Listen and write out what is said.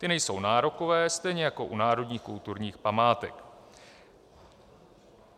Ty nejsou nárokové, stejně jako u národních kulturních památek.